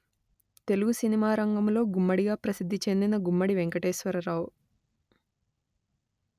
Telugu cinema రంగములో గుమ్మడి గా ప్రసిద్ధి చెందిన గుమ్మడి వెంకటేశ్వరరావు